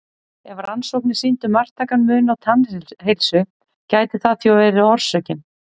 Ef rannsóknir sýndu marktækan mun á tannheilsu gæti það því verið orsökin.